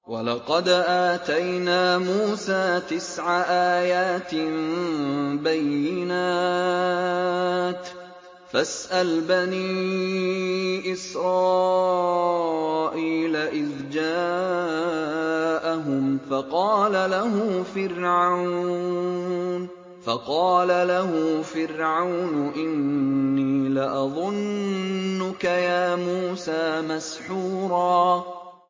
وَلَقَدْ آتَيْنَا مُوسَىٰ تِسْعَ آيَاتٍ بَيِّنَاتٍ ۖ فَاسْأَلْ بَنِي إِسْرَائِيلَ إِذْ جَاءَهُمْ فَقَالَ لَهُ فِرْعَوْنُ إِنِّي لَأَظُنُّكَ يَا مُوسَىٰ مَسْحُورًا